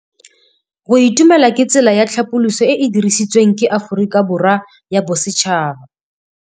Go itumela ke tsela ya tlhapolisô e e dirisitsweng ke Aforika Borwa ya Bosetšhaba.